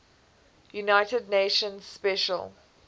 united nations special